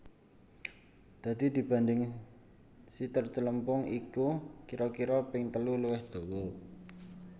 Dadi dibanding siter celempung iku kira kira ping telu luwih dawa